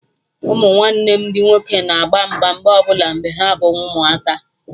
Ụmụnwanne m ndị nwoke na agba mgba mgbe ọbụla mgbe ha bụ ụmụaka